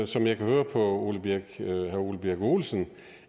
som jeg kan høre på herre ole birk olesen